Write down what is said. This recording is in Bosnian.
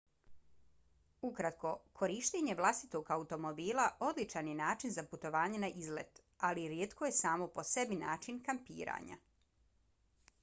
ukratko korištenje vlastitog automobila odličan je način za putovanje na izlet ali rijetko je samo po sebi način kampiranja